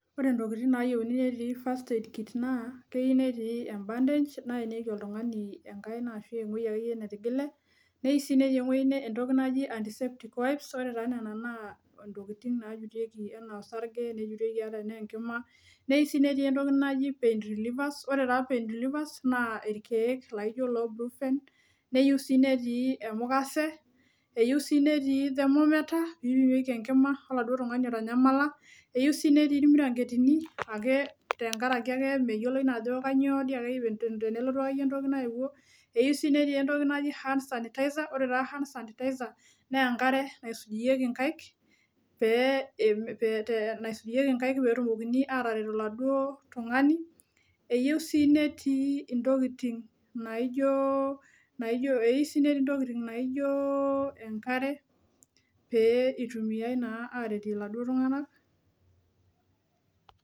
Ore intokitin nayieuni netii first aid kit naa keiu netii em bandage naenieki oltung'ani enkaina ashu eng'uei akeyie netigile neiu sii netii eng'uei entoki naji antiseptic wipes ore taa nena naa intokiting naajutieki ana osarge nejutieki anaa enkima neiu sii netii entoki naji pain relievers ore taa pain relievers naa irkeek laijo iloo bruffen neiu sii netii emukase eyu sii netii thermometer pipimieki enkima oladuo tung'ani otanyamala eiu sii netii irmiranketini ake tenkarake ake meyioloi naa ajo kanyio diake te ten tenelotu diake yie entoki naewuo eyu sii netii entoki naji hand sanitizer ore taa hand sanitizer nenkare naisujieki inkaik pee eme pee et naisujieki inkaik pee etumokini ataret oladuo tung'ani eyieu sii netii intokiting naijio eiu sii netii intokiting naijio enkare pee itumiae naa aretie iladuo tung'anak.